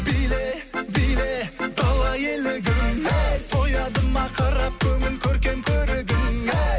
биле биле дала елігім әй тояды ма қарап көңіл көркем көрігің әй